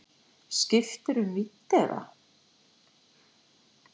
Skiptirðu um vídd eða?